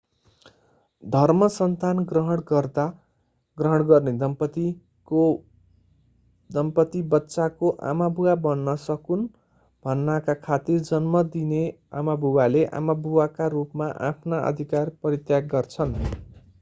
धर्मसन्तान ग्रहण गर्दा ग्रहण गर्ने दम्पत्ति बच्चाको आमाबुबा बन्न सकून् भन्नाका खातिर जन्म दिने आमाबुवाले आमाबुबाका रूपमा आफ्ना अधिकार परित्याग गर्छन्